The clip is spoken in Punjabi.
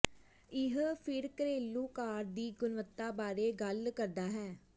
ਇਹ ਫਿਰ ਘਰੇਲੂ ਕਾਰ ਦੀ ਗੁਣਵੱਤਾ ਬਾਰੇ ਗੱਲ ਕਰਦਾ ਹੈ